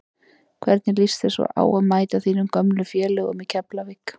Hvernig lýst þér svo á að mæta þínum gömlu félögum í Keflavík?